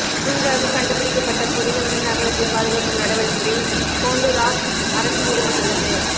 புதிதாக கண்டுபிடிக்கப்பட்ட புதையுண்ட நகரத்தை பாதுகாக்கும் நடவடிக்கையில் ஹோண்டுராஸ் அரசு ஈடுபட்டுள்ளது